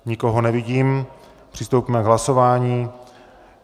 Nikoho nevidím, přistoupíme k hlasování.